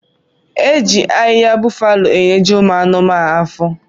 Eji ahiha bufalo enyeji ụmụ anuma afọ.